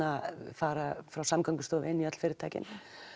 fara frá Samgöngustofu inn í öll fyrirtækin